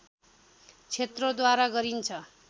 क्षेत्रद्वारा गरिन्छ